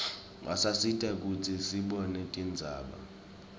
basisita kutsi sibone tindzaba